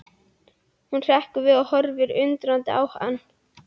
Hún hrekkur við og horfir undrandi á hann.